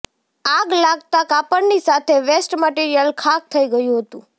આગ લાગતા કાપડની સાથે વેસ્ટ મટિરિયલ ખાક થઇ ગયું હતું